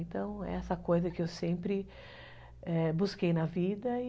Então, é essa coisa que eu sempre busquei na vida e...